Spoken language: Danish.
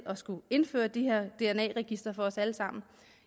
at skulle indføre det her dna register for os alle sammen